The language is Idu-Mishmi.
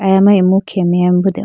aya ma imu khe meya bo deho po.